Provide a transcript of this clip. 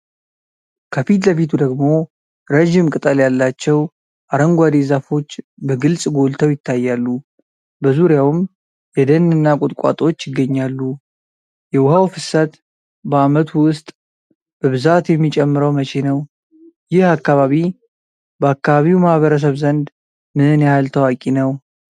ከፊት ለፊቱ ደግሞ ረጅም ቅጠል ያላቸው አረንጓዴ ዛፎች በግልጽ ጎልተው ይታያሉ፣ በዙሪያውም የደን እና ቁጥቋጦዎች ይገኛሉ፡፡ የውሃው ፍሰት በዓመቱ ውስጥ በብዛት የሚጨምረው መቼ ነው? ይህ አካባቢ በአካባቢው ማህበረሰብ ዘንድ ምን ያህል ታዋቂ ነው?